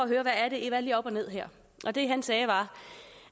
jeg og ned her og det han sagde var